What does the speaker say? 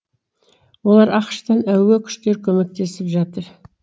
оларға ақш тан әуе күштері көмектесіп жатыр